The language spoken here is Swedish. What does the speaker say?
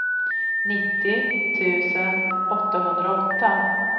nittio tusen åttahundraåtta